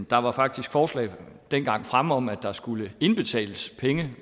der var faktisk forslag fremme om dengang at der skulle indbetales penge